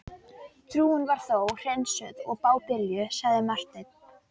Trúin var þó hreinsuð af bábilju, sagði Marteinn.